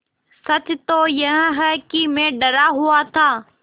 सच तो यह है कि मैं डरा हुआ था